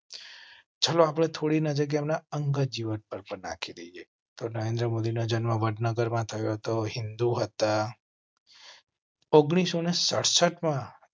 ચાલો આપણે થોડી નજર એમ ના અંગત જીવન પર પર નાખીએ તો નરેન્દ્ર મોદી ના જન્મ વડનગર મા થયો હતો. હિંદુ હતા. ઓગણીસો ને સદસત માં